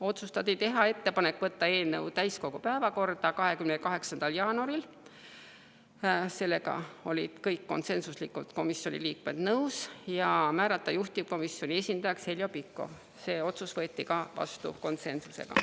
Otsustati teha ettepanek võtta eelnõu täiskogu päevakorda 28. jaanuaril – sellega olid konsensuslikult nõus kõik komisjoni liikmed – ja määrata juhtivkomisjoni esindajaks Heljo Pikhof, ka see otsus võeti vastu konsensusega.